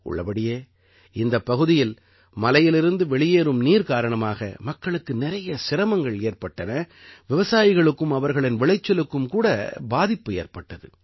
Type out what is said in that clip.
உள்ளபடியே இந்தப் பகுதியில் மலையிலிருந்து வெளியேறும் நீர் காரணமாக மக்களுக்கு நிறைய சிரமங்கள் ஏற்பட்டன விவசாயிகளுக்கும் அவர்களின் விளைச்சலுக்கும் கூட பாதிப்பு ஏற்பட்டது